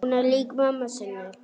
Hún er lík mömmu sinni.